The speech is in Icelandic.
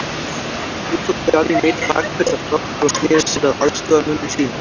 Nú tók Johnny Mate bakföll af hlátri og sneri sér að aðstoðarmönnum sínum.